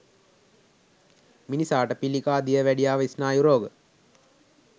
මිනිසාට පිළිකා, දියවැඩියාව ස්නායු රෝග